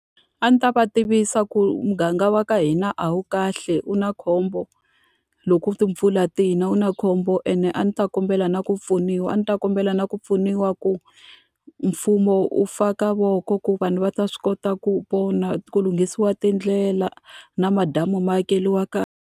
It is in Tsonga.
A ndzi ta va tivisa ku muganga wa ka hina a wu kahle u na khombo, loko u timpfula ti na wu na khombo ene a ndzi ta kombela na ku pfuniwa. A ni ta kombela na ku pfuniwa ku mfumo wu faka voko ku vanhu va ta swi kota ku pona, ku lunghisiwa tindlela na madamu ma akeriwa kahle.